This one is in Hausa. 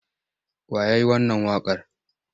Wa ya yi wannan waƙar?